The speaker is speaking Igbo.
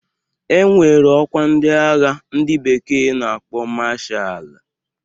E nwere ọkwa ndi agha ndị bekee na-akpọ mashaalu